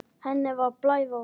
Henni var að blæða út.